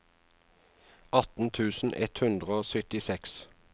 atten tusen ett hundre og syttiseks